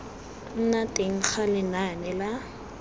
nna teng ga lenane la